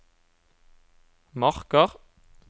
marker